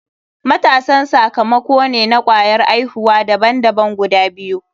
Matasan sakamako ne na kwayar aihuwa daban daban guda biyu.